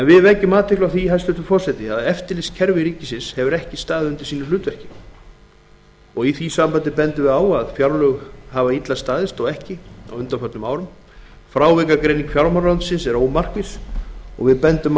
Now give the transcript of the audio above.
við vekjum athygli á því hæstvirtur forseti að eftirlitskerfi ríkisins hefur ekki staðið undir sínu hlutverki í því sambandi má benda á að fjárlög hafa ekki staðist árum saman og frávikagreining fjármálaráðuneytisins er ómarkviss minni hlutinn bendir